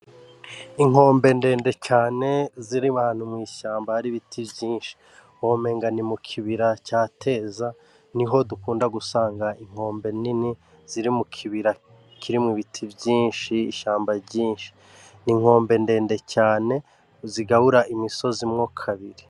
Inkombe ndende cane ziri ahantu mw'ishamba hari ibiti vyinshi womenga ni mukibira ca teza niho dukunda gusanga inkombe nini ziri mukibira kirimwo ibiti vyinshi, ishamba ryinshi ,n'inkombe ndende cane zigabura imisozi mwo kabiri.